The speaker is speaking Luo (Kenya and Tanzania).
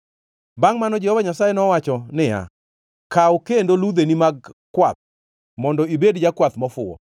Bangʼ mano Jehova Nyasaye nowacho niya, “Kaw kendo ludheni mag kwath mondo ibed jakwath mofuwo.